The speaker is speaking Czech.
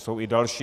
Jsou i další.